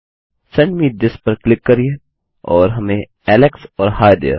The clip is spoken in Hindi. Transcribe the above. सेंड मे थिस पर क्लिक करिये और हमें एलेक्स और ही there